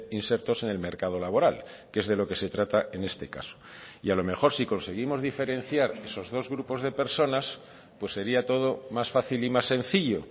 insertos en el mercado laboral que es de lo que se trata en este caso y a lo mejor sí conseguimos diferenciar esos dos grupos de personas pues sería todo más fácil y más sencillo